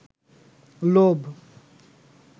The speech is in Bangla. লোভ